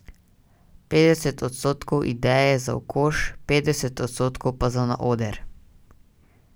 Petdeset odstotkov idej je za v koš, petdeset odstotkov pa za na oder.